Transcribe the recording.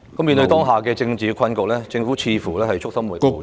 面對當下的政治困局，政府似乎束手無策......